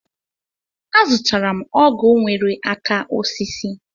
Azụtara m ọgụ nwere aka osisi.